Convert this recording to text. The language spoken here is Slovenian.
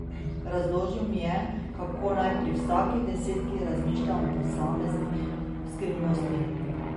Razložil mi je, kako naj pri vsaki desetki razmišljam o posamezni skrivnosti.